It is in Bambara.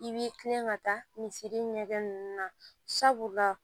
I b'i kilen ka taa misiri ɲɛkɛ ninnu na sabula